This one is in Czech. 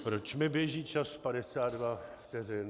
Proč mi běží čas 52 vteřin?